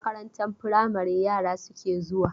Makarantar firamari yara suke zuwa?